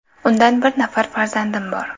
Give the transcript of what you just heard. Undan bir nafar farzandim bor.